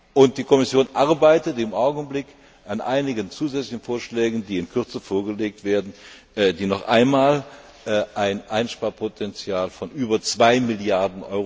Und die Kommission arbeitet im Augenblick an einigen zusätzlichen Vorschlägen, die in Kürze vorgelegt werden, die noch einmal ein Einsparpotenzial von über 2 Mrd.